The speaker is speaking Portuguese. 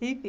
h...